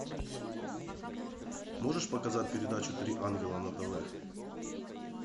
можешь показать передачу три ангела на тв